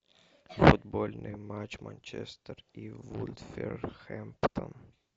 футбольный матч манчестер и вулверхэмптон